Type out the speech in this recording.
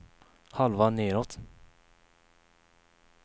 halva nedåt